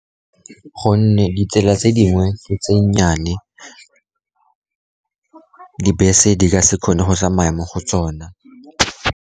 Gonne ditsela tse dingwe tse nnyane, dibese di ka se kgone go tsamaya mo go tsone.